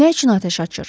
Nə üçün atəş açır?